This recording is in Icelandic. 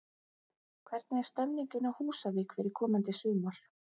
Hvernig er stemmingin á Húsavík fyrir komandi sumar?